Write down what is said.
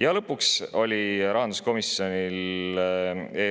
Ja lõpuks on rahanduskomisjonil